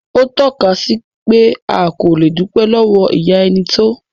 Ó tọ́ka sí pé a kò le dúpẹ́ lọ́wọ́ ìyá ẹni tó.